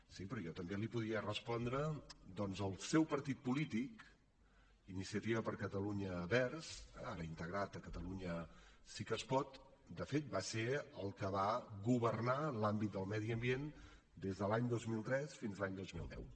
sí però jo també li podria respondre doncs el seu partit polític iniciativa per catalunya verds ara integrat a catalunya sí que es pot de fet va ser el que va governar l’àmbit del medi ambient des de l’any dos mil tres fins a l’any dos mil deu